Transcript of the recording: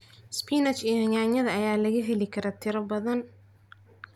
Spinach iyo yaanyada ayaa laga heli karaa tiro badan.